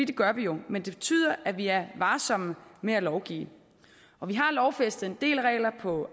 det gør vi jo men det betyder at vi er varsomme med at lovgive og vi har lovfæstet en del regler på